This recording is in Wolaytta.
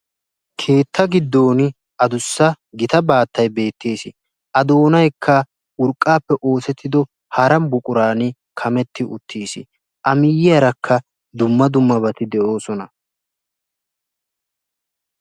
Keetta gidooni adussa gita baattay beetteesi. A doonayikka urqqaappe oosettido hara buquraani kametti uttis. A miyyiyaarakka dumma dummabati de'oosona.